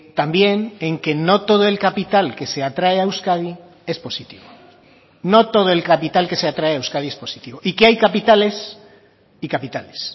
también en que no todo el capital que se atrae a euskadi es positivo no todo el capital que se atrae a euskadi es positivo y que hay capitales y capitales